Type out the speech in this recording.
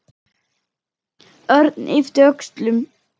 Örn yppti öxlum.